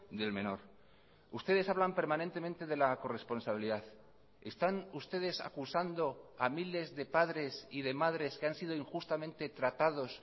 del menor ustedes hablan permanentemente de la corresponsabilidad están ustedes acusando a miles de padres y de madres que han sido injustamente tratados